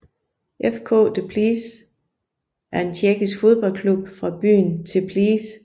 FK Teplice er en tjekkisk fodboldklub fra byen Teplice